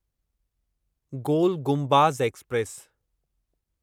गोल Gumbaz express